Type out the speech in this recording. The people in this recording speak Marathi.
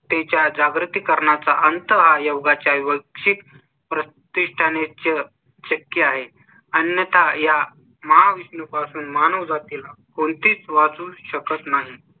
च्या जागृती करण्याचा अंत हा योगा चा वर्ग प्रति ने च शक्य आहे आणि त्या महाविष्णू पासून माणूस जातील कोणतीच वाचू शकत नाही.